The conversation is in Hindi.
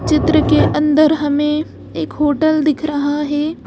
चित्र के अंदर हमें एक होटल दिख रहा है।